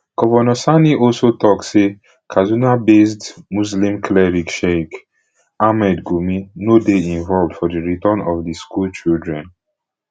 govnor sani also tok say kadunabased muslim cleric sheikh ahmad gumi no dey involved for di return of di schoolchildren